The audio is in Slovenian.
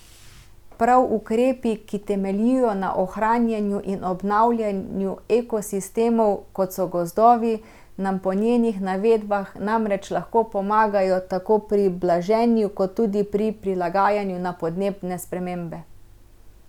Prav ukrepi, ki temeljijo na ohranjanju in obnavljanju ekosistemov, kot so gozdovi, nam po njenih navedbah namreč lahko pomagajo tako pri blaženju kot tudi pri prilagajanju na podnebne spremembe.